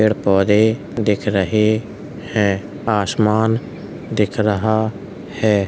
पेड़ पौधे दिख रहे हैं। आसमान दिख रहा है।